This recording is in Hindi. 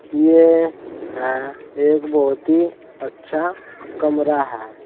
ये है एक बहोत ही अच्छा कमरा है।